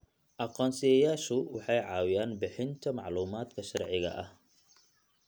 Aqoonsiyeyaashu waxay caawiyaan bixinta macluumaadka sharciga ah.